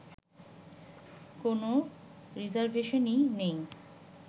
কোন রিজার্ভেশনই নেই